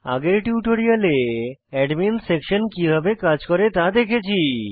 আগের টিউটোরিয়ালে admin section কিভাবে কাজ করে তা দেখেছি